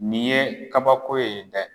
Nin ye kabako ye dɛ